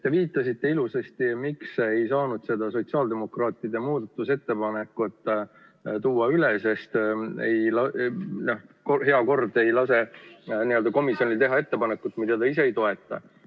Te ütlesite ilusasti, miks ei saanud sotsiaaldemokraatide muudatusettepanekut üle tuua: sellepärast, et kord ei lase komisjonil teha ettepanekut, mida ta ise ei toeta.